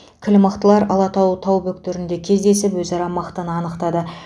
кіл мықтылар алатау тау бөктерінде кездесіп өзара мықтыны анықтады